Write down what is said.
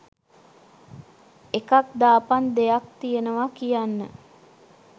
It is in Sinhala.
එකක් දාපං දෙයක් තියනවා කියන්න